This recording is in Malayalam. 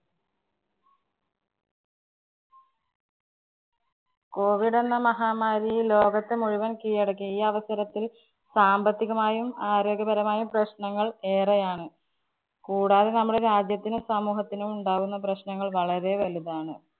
COVID എന്ന മഹാമാരി ഈ ലോകത്തെ മുഴുവന്‍ കീഴടക്കി. ഈ അവസരത്തില്‍ സാമ്പത്തികമായും ആരോഗ്യപരമായും പ്രശ്നങ്ങള്‍ ഏറെയാണ്‌. കൂടാതെ നമ്മുടെ രാജ്യത്തിനും സമൂഹത്തിനും ഉണ്ടാകുന്ന പ്രശ്നങ്ങള്‍ വളരെ വലുതാണ്‌.